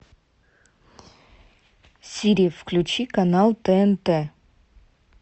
сири включи канал тнт